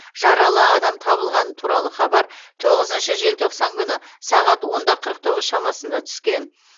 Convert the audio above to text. жаралы адам табылғаны туралы хабар тоғызыншы желтоқсан күні сағат онда қырық тоғыз шамасында түскен